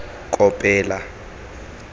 kopela